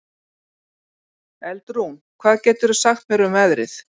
Eldrún, hvað geturðu sagt mér um veðrið?